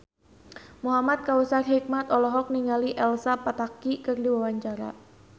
Muhamad Kautsar Hikmat olohok ningali Elsa Pataky keur diwawancara